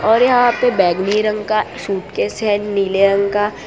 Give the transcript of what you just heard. और यहां पे बैगनी नहीं रंग का सूटकेस है नीले रंग का।